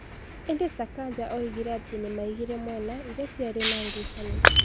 Ĩndĩ Sakaja oigire atĩ nĩ maigire mwena iria ciarĩ na ngucanio.